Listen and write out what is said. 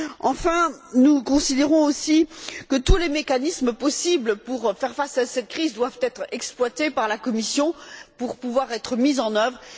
Enfin, nous considérons que tous les mécanismes possibles pour faire face à cette crise doivent être exploités par la Commission pour pouvoir être mis en œuvre.